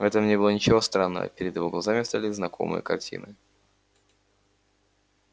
в этом не было ничего странного перед его глазами встали знакомые картины